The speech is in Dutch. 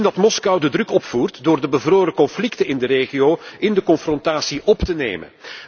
We zien dat Moskou de druk opvoert door de bevroren conflicten in de regio in de confrontatie op te nemen.